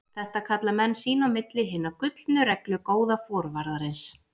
Þetta kalla menn sín á milli Hina gullnu reglu góða forvarðarins.